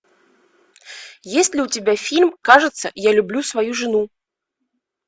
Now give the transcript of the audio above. есть ли у тебя фильм кажется я люблю свою жену